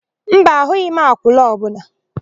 Mba, ahụghị m akwụna ọbụla.